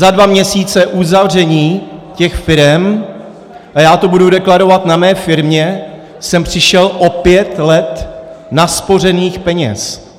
Za dva měsíce uzavření těch firem - a já to budu deklarovat na mé firmě - jsem přišel o pět let naspořených peněz.